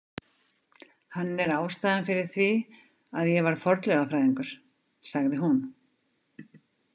Hann er ástæðan fyrir því að ég varð fornleifafræðingur, sagði hún.